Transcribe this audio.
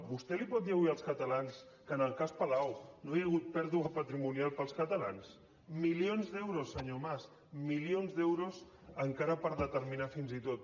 vostè els pot dir avui als catalans que en el cas palau no hi ha hagut pèrdua patrimonial per als catalans milions d’euros senyor mas milions d’euros encara per determinar fins i tot